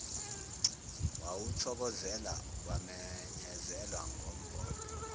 wawuthokozela kwamenyezelwa ngombhobho